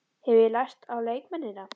Hef ég lært á leikmennina?